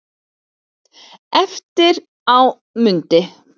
Eftir á mundi